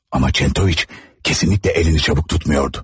Amma Çentoviç kesinlikle əlini çabuk tutmuyordu.